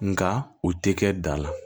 Nga u tɛ kɛ da la